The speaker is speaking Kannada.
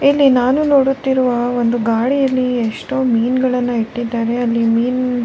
ಇಲ್ಲಿ ನಾನು ನೋಡುತ್ತಿರುವ ಒಂದು ಗಾಡಿಯಲ್ಲಿ ಎಷ್ಟೋ ಮೀನ್ಗಳನ್ನು ಇಟ್ಟಿದ್ದಾರೆ ಅಲ್ಲಿ ಮೀನ್.